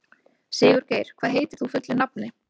Sigurgeir, hvað heitir þú fullu nafni?